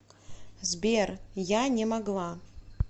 сбер я не могла